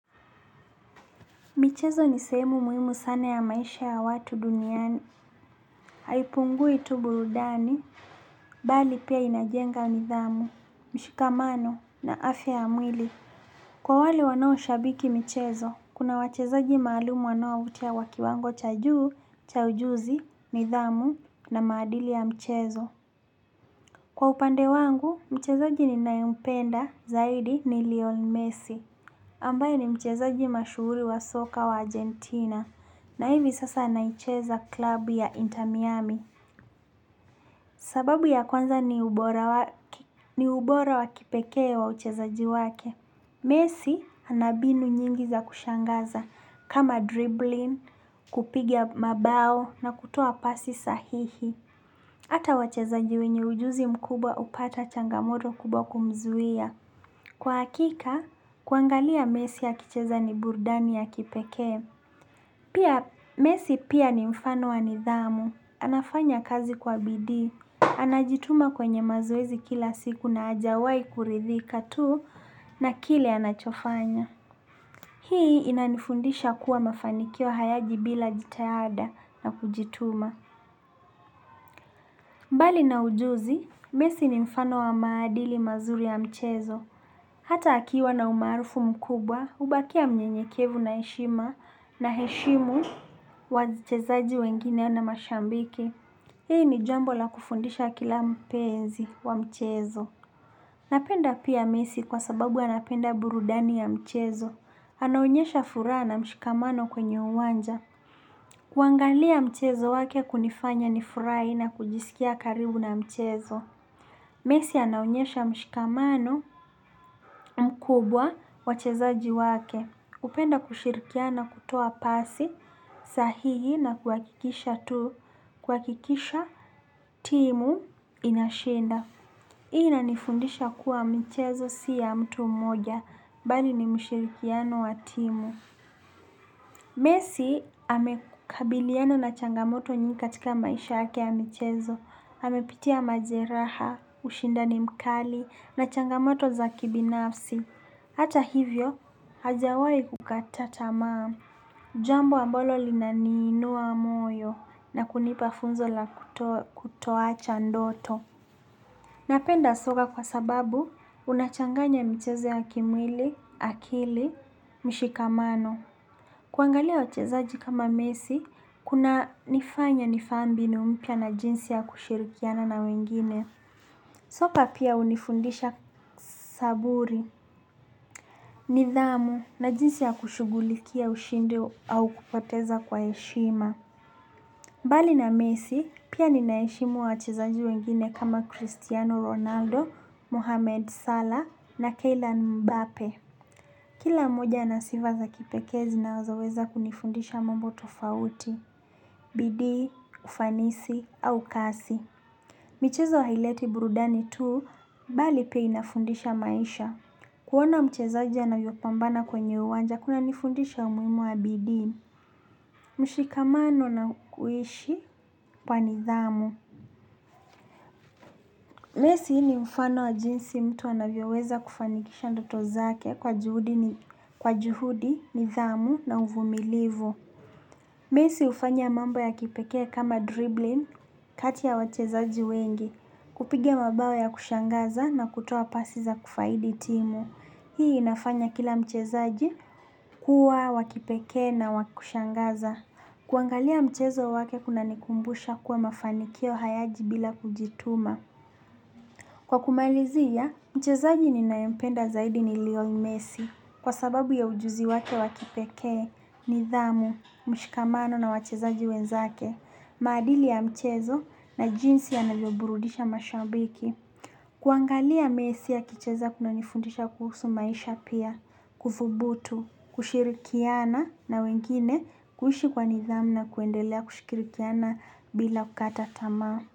Michezo ni sehemu muimu sana ya maisha ya watu duniani. Haipungui tu burudani, bali pia inajenga nidhamu, mshikamano na afya ya mwili. Kwa wale wanao shabiki michezo, kuna wachezaji maalumu wanao utia wa kiwango cha juu, cha ujuzi, nidhamu na maadili ya michezo. Kwa upande wangu, mchezaji ninayempenda zaidi ni lion messi. Ambaye ni mchezaji mashuhuli wa soka wa Argentina na hivi sasa anaicheza klabu ya inter miami sababu ya kwanza ni ubora wa kipekee wa uchezaji wake. Messi anabinu nyingi za kushangaza kama dribbling, kupigia mabao na kutoa pasi sahihi. Hata wachezaji wenye ujuzi mkubwa upata changamoto kubwa kumzuia. Kwa hakika, kuangalia messi akicheza ni burdani ya kipekee. Pia, messi pia ni mfano wa nidhamu. Anafanya kazi kwa bidii. Anajituma kwenye mazoezi kila siku na ajawai kuridhika tu na kile anachofanya. Hii inanifundisha kuwa mafanikio hayaji bila jitahada na kujituma. Mbali na ujuzi, messi ni mfano wa maadili mazuri ya mchezo. Hata akiwa na umaarufu mkubwa, hubakia mnyenyekevu na heshima na heshimu wa chezaji wengine na mashambiki. Hii ni jambo la kufundisha kila mpenzi wa mchezo. Napenda pia messi kwa sababu anapenda burudani ya mchezo. Anaonyesha fura na mshikamano kwenye uwanja. Kuangalia mchezo wake kunifanya nifurai na kujisikia karibu na mchezo. Messi anaonyesha mshikamano mkubwa wachezaji wake. Hupenda kushirikiana kutoa pasi sahihi na kuhakikisha timu inashinda. Hii inanifundisha kuwa michezo si ya mtu mmoja, bali ni mshirikiano wa timu. Messi amekabiliana na changamoto nyingi katika maisha yake ya michezo, amepitia majeraha, ushindani mkali, na changamoto za kibinafsi. Hata hivyo, hajawai kukata tamaa, jambo ambalo linaninua moyo na kunipa funzo la kutoacha ndoto. Napenda soka kwa sababu, unachanganya michezo ya kimwili, akili, mshikamano. Kuangalia wachezaji kama messi, kuna nifanya nifahamu mbinu mpya na jinsi ya kushirikiana na wengine. Soka pia unifundisha saburi, nidhamu na jinsi ya kushugulikia ushindi au kupateza kwa heshima. Mbali na messi, pia ninaeshimu wachezaji wengine kama Cristiano Ronaldo, Mohamed Salah na Keylan Mbape. Kila moja anasiva za kipekee zinazoweza kunifundisha mambo tofauti. Bidii, ufanisi, au kasi. Michezo haileti burudani tuu, bali pia inafundisha maisha. Kuona mchezaji anavyopambana kwenye uwanja, kuna nifundisha umuhimu wa bidii. Mushikamano na uishi kwa nidhamu. Messi ni mfano wa jinsi mtu anavyo weza kufanikisha ndoto zake kwa juhudi, nithamu na uvumilivu. Messi hufanya mambo ya kipekee kama dribbling kati ya wachezaji wengi. Kupigia mabao ya kushangaza na kutoa pasi za kufaidi timu. Hii inafanya kila mchezaji kuwa wa kipekee na wa kushangaza. Kuangalia mchezo wake kuna nikumbusha kuwa mafanikio hayaji bila kujituma. Kwa kumalizia, mchezaji ninaempenda zaidi ni lion messi. Kwa sababu ya ujuzi wake wa kipekee nidhamu, mshikamano na wachezaji wenzake. Maadili ya mchezo na jinsi yanavyoburudisha mashabiki. Kuangalia messi akicheza kunanifundisha kuhusu maisha pia, kudhubutu, kushirikiana na wengine kuhlishi kwa nidhamu na kuendelea kushikirikiana bila kukata tama.